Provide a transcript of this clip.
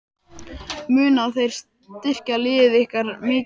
Munu þeir styrkja lið ykkar mikið?